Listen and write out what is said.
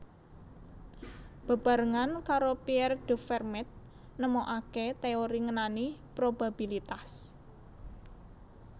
Bebarengan karo Pierre de Fermat nemokaké téori ngenani probabilitas